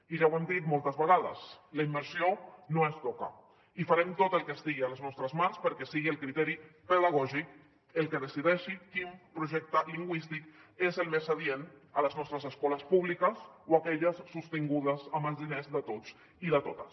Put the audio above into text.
i ja ho hem dit moltes vegades la immersió no es toca i farem tot el que estigui a les nostres mans perquè sigui el criteri pedagògic el que decideixi quin projecte lingüístic és el més adient a les nostres escoles públiques o aquelles sostingudes amb els diners de tots i de totes